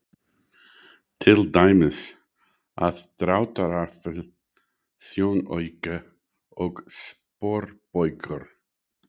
Til dæmis: aðdráttarafl, sjónauki og sporbaugur.